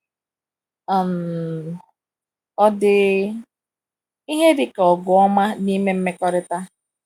um Ọ̀ dị ihe dịka ọgụ ọma n’ime mmekọrịta?